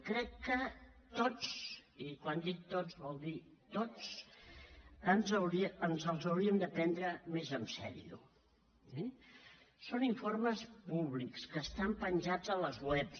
crec que tots i quan dic tots vol dir tots ens els hauríem de prendre més en sèrio eh són informes públics que estan penjats a les webs